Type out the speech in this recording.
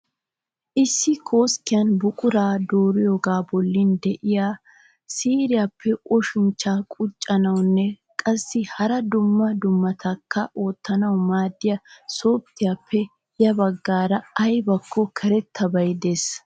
Issi koskkiyan buquraa dooriyoogaa bollan de'iya siiriyaappe oshinchcha quccuiyoonne qsssi hara dumma dummabatakka oottanawu maaddiya sofittiyaappe ya baggan ayibakko karettabay des.